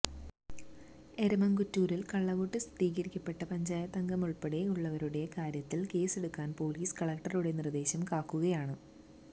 എരമംകുറ്റൂരിൽ കള്ളവോട്ട് സ്ഥീരീകരിക്കപ്പെട്ട പഞ്ചായത്തംഗമുൾപ്പടെയുള്ളവരുടെ കാര്യത്തിൽ കേസെടുക്കാൻ പൊലീസ് കളക്ടറുടെ നിർദേശം കാക്കുകയാണ്